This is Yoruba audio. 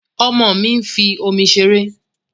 Ọmọ mi ń fi omi ṣeré